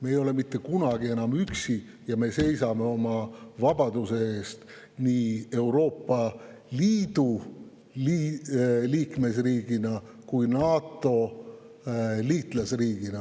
Me ei ole enam mitte kunagi üksi ja me seisame oma vabaduse eest nii Euroopa Liidu liikmesriigina kui NATO liitlasriigina.